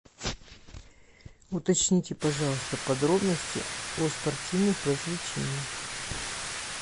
уточните пожалуйста подробности о спортивных развлечениях